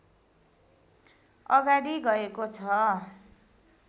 अगाडि गएको छ